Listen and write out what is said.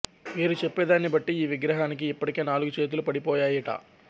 వీరు చెప్పేదాన్ని బట్టి ఈవిగ్రహానికి ఇప్పటికే నాలుగు చేతులు పడి పోయాయిట